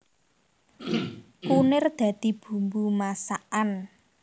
Kunir dadi bumbu masakan